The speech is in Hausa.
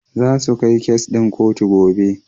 Zasu kai kes ɗin kotu gobe.